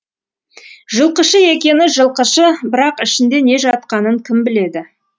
жылқышы екені жылқышы бірақ ішінде не жатқанын кім біледі